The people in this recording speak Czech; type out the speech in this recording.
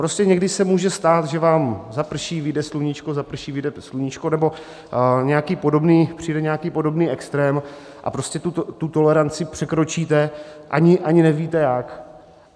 Prostě někdy se může stát, že vám zaprší, vyjde sluníčko, zaprší, vyjde sluníčko nebo přijde nějaký podobný extrém a prostě tu toleranci překročíte, ani nevíte jak.